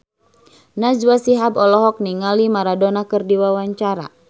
Najwa Shihab olohok ningali Maradona keur diwawancara